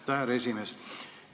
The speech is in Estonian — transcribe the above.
Aitäh, härra esimees!